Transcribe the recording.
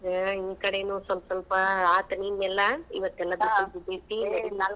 ಹಾ ಈ ಕಡೆನೂ ಸ್ವಲ್ಪ ಸ್ವಲ್ಪ ಆತ್ ನಿನ್ನೆಲ್ಲ ಇವತ್ತೆಲ್ಲಾ .